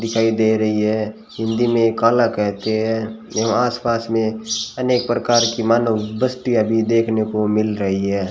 दिखाई दे रही है हिंदी में काला कहते हैं जो आसपास में अनेक प्रकार की मानव बस्तीयां अभी देखने को मिल रही है।